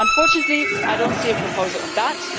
Unfortunately, I do not see a proposal on that